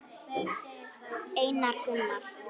Einar Gunnar.